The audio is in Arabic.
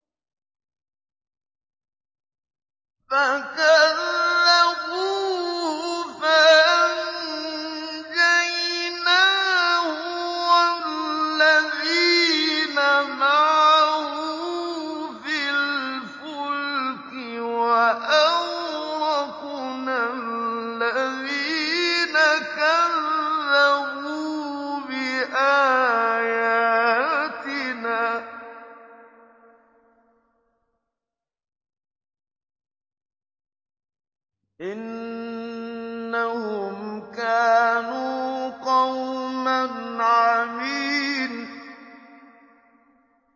فَكَذَّبُوهُ فَأَنجَيْنَاهُ وَالَّذِينَ مَعَهُ فِي الْفُلْكِ وَأَغْرَقْنَا الَّذِينَ كَذَّبُوا بِآيَاتِنَا ۚ إِنَّهُمْ كَانُوا قَوْمًا عَمِينَ